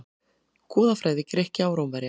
Goðafræði Grikkja og Rómverja.